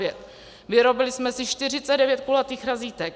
Vyrobili jsme si 49 kulatých razítek.